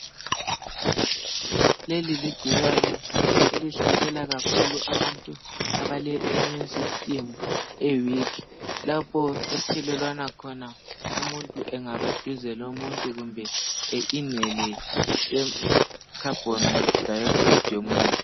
Leli ligcikwane elihlasela kakhulu abantu abale immune system e-weak. Lapho ethelelwana khona umuntu engabaduze lomuntu kumbe ehotshe umoya ofanayo lowomunye.